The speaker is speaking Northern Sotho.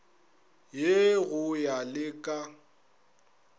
ye go ya le ka